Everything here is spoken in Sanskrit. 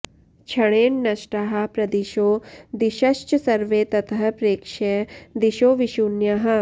क्षणेन नष्टाः प्रदिशो दिशश्च सर्वे ततः प्रेक्ष्य दिशो विशून्याः